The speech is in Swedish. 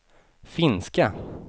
finska